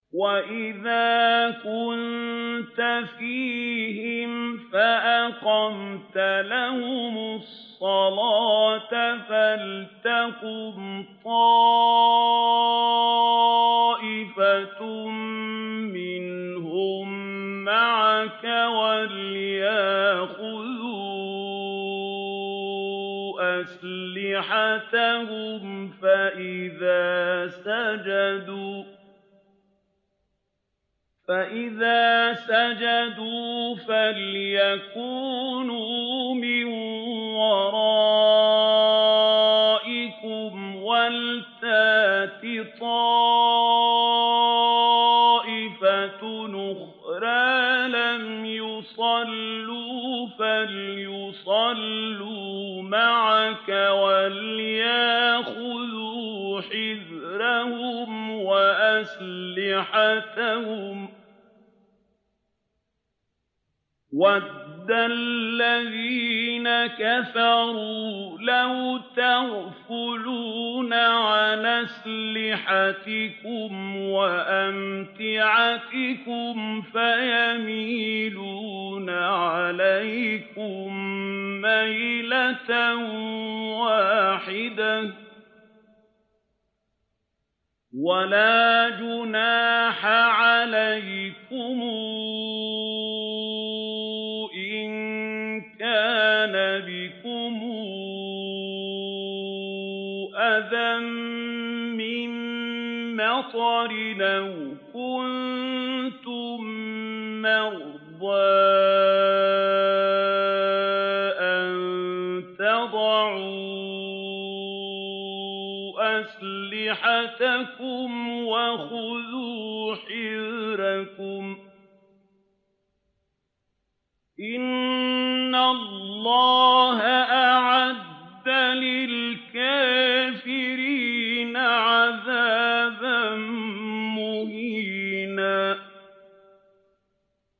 وَإِذَا كُنتَ فِيهِمْ فَأَقَمْتَ لَهُمُ الصَّلَاةَ فَلْتَقُمْ طَائِفَةٌ مِّنْهُم مَّعَكَ وَلْيَأْخُذُوا أَسْلِحَتَهُمْ فَإِذَا سَجَدُوا فَلْيَكُونُوا مِن وَرَائِكُمْ وَلْتَأْتِ طَائِفَةٌ أُخْرَىٰ لَمْ يُصَلُّوا فَلْيُصَلُّوا مَعَكَ وَلْيَأْخُذُوا حِذْرَهُمْ وَأَسْلِحَتَهُمْ ۗ وَدَّ الَّذِينَ كَفَرُوا لَوْ تَغْفُلُونَ عَنْ أَسْلِحَتِكُمْ وَأَمْتِعَتِكُمْ فَيَمِيلُونَ عَلَيْكُم مَّيْلَةً وَاحِدَةً ۚ وَلَا جُنَاحَ عَلَيْكُمْ إِن كَانَ بِكُمْ أَذًى مِّن مَّطَرٍ أَوْ كُنتُم مَّرْضَىٰ أَن تَضَعُوا أَسْلِحَتَكُمْ ۖ وَخُذُوا حِذْرَكُمْ ۗ إِنَّ اللَّهَ أَعَدَّ لِلْكَافِرِينَ عَذَابًا مُّهِينًا